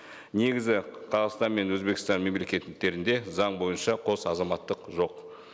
негізі қазақстан мен өзбекстан мемлекеттерінде заң бойынша қос азаматтық жоқ